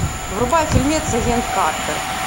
врубай фильмец агент картер